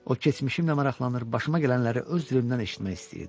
O keçmişimlə maraqlanır, başıma gələnləri öz dilimdən eşitmək istəyirdi.